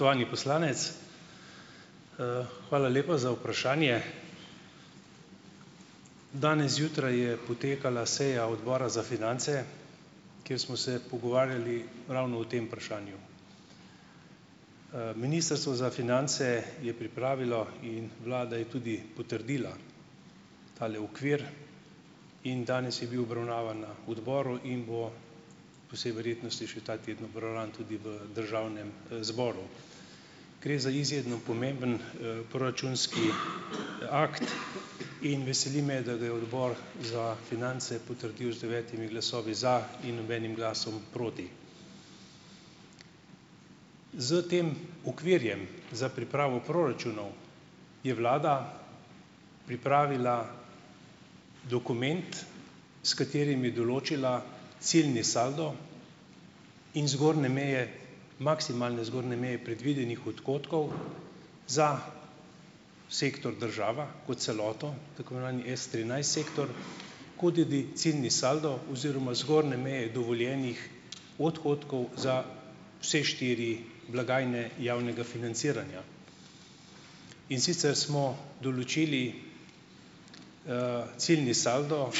Spoštovani poslanec. Hvala lepa za vprašanje. Danes zjutraj je potekala seja odbora za finance, kjer smo se pogovarjali ravno o tem vprašanju. Ministrstvo za finance je pripravilo in vlada je tudi potrdila tale okvir in danes je bil obravnavan na odboru in bo po vsej verjetnosti še ta teden obravnavan tudi v državnem, zboru. Gre za izredno pomemben, proračunski akt in veseli me, da ga je odbor za finance potrdil z devetimi glasovi za in nobenim glasom proti. S tem okvirjem za pripravo proračunov, je vlada pripravila dokument, s katerim je določila ciljni saldo in zgornje meje, maksimalne zgornje meje predvidenih odhodkov za sektor država kot celoto, tako imenovani S trinajst sektor kodidi ciljni saldo oziroma zgornje meje dovoljenih odhodkov za vse štiri blagajne javnega financiranja. In sicer smo določili ciljni saldo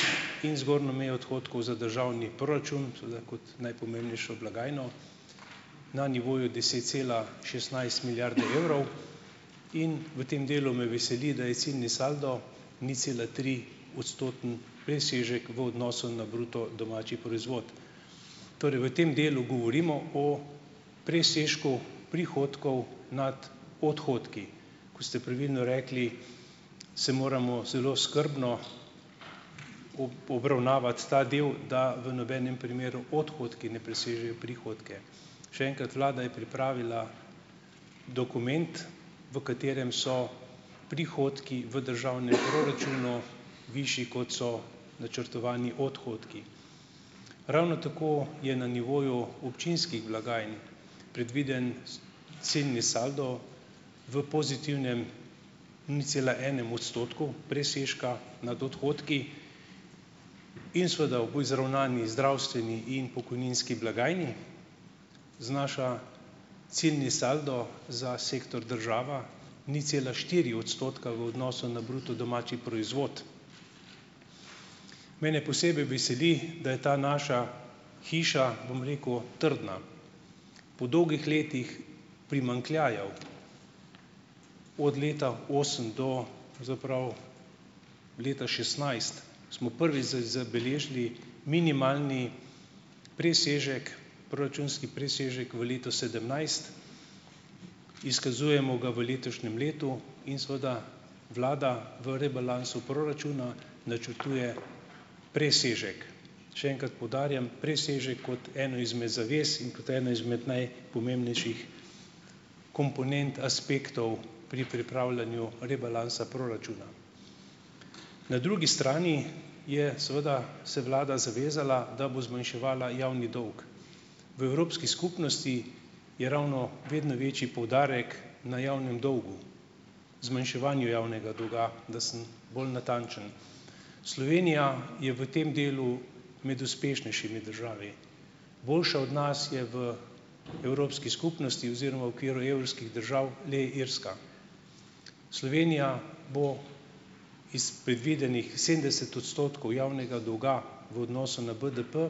in zgornjo mejo odhodkov za državni proračun, seveda kot najpomembnejšo blagajno na nivoju deset cela šestnajst milijarde evrov in v tem delu me veseli, da je ciljni saldo ničcelatri- odstotni presežek v odnosu na bruto domači proizvod. Torej v tem delu govorimo o presežku prihodkov nad odhodki. Ko ste pravilno rekli, se moramo zelo skrbno obravnavati ta del, da v nobenem primeru odhodki ne presežejo prihodke. Še enkrat, vlada je pripravila dokument, v katerem so prihodki v državnem proračunu višji, kot so načrtovani odhodki. Ravno tako je na nivoju občinskih blagajn predviden ciljni saldo v pozitivnem nič cela enem odstotku presežka nad odhodki in seveda ob izravnani zdravstveni in pokojninski blagajni, znaša ciljni saldo za sektor država nič cela štiri odstotka v odnosu na bruto domači proizvod. Mene posebej veseli, da je ta naša hiša, bom rekel, trdna po dolgih letih primanjkljajev. Od leta osem do pravzaprav leta šestnajst smo prvič zabeležili minimalni presežek, proračunski presežek v letu sedemnajst. Izkazujemo ga v letošnjem letu in seveda vlada v rebalansu proračuna načrtuje presežek. Še enkrat poudarjam presežek kot eno izmed zavez in kot eno izmed najpomembnejših komponent aspektov pri pripravljanju rebalansa proračuna. Na drugi strani je seveda se vlada zavezala, da bo zmanjševala javni dolg. V Evropski skupnosti je ravno vedno večji poudarek na javnem dolgu, zmanjševanju javnega dolga, da sem bolj natančen. Slovenija je v tem delu med uspešnejšimi državami, boljša od nas je v Evropski skupnosti oziroma v okviru evrskih držav le Irska. Slovenija bo iz predvidenih sedemdeset odstotkov javnega dolga v odnosu na BDP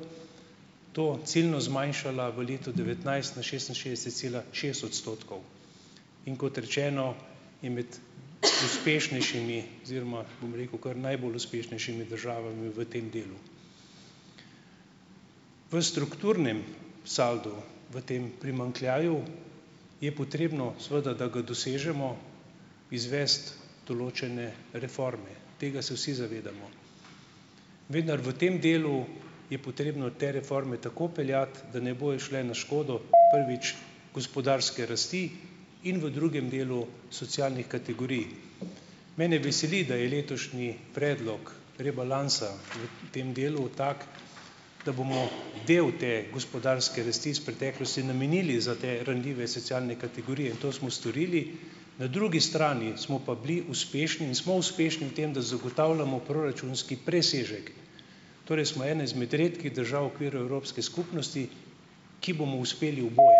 to ciljno zmanjšala v letu devetnajst na šestinšestdeset cela šest odstotkov. In kot rečeno, je med uspešnejšimi, oziroma bom rekel, kar najbolj uspešnejšimi državami v tem delu. V strukturnem saldu v tem primanjkljaju je potrebno seveda, da ga dosežemo, izvesti določene reforme, tega se vsi zavedamo. Vendar v tem delu je potrebno te reforme tako peljati, da ne bojo šle na škodo, prvič, gospodarske rasti in v drugem delu socialnih kategorij. Mene veseli, da je letošnji predlog rebalansa v tem delu tak, da bomo del te gospodarske rasti iz preteklosti namenili za te ranljive socialne kategorije in to smo storili, na drugi strani smo pa bili uspešni in smo uspešni v tem, da zagotavljamo proračunski presežek, torej smo ena izmed redkih držav v okviru Evropske skupnosti, ki bomo uspeli oboje.